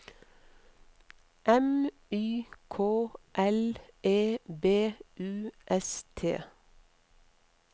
M Y K L E B U S T